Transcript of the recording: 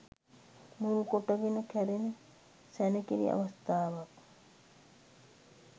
මුල් කොට ගෙන කැරෙන සැණකෙළි අවස්ථාවක්